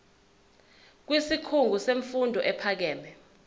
kwisikhungo semfundo ephakeme